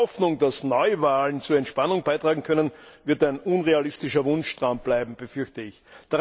Die Hoffnung, dass Neuwahlen zur Entspannung beitragen können, wird ein unrealistischer Wunschtraum bleiben, befürchte ich.